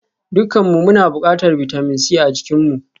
Dukanmu muna buƙatar bitamin C a jikinmu